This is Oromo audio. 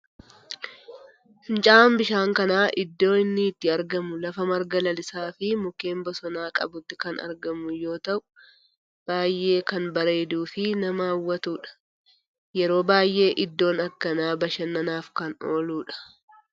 Fincaa'aan bishaan kanaa iddoon inni itti argamu lafa marga lalisaa fi mukkeen bosonaa qabutti kan argamu yoo ta'u baayyee kan bareeduu fi nama hawwatudha. Yeroo baayyee iddoon akkanaa bashannanaaf kan ooludha.